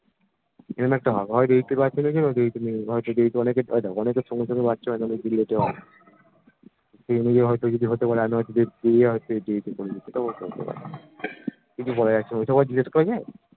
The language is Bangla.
যে কোনো একটা হবে হয় অনেকের সঙ্গে সঙ্গে বাঁচা হয়না অনেকের একটু late এ হয় সবাই জিজ্ঞেস করছে